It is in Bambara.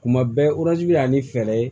Kuma bɛɛ bɛ na ni fɛɛrɛ ye